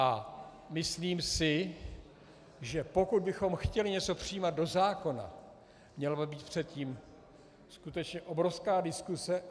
A myslím si, že pokud bychom chtěli něco přijímat do zákona, měla by být předtím skutečně obrovská diskuse.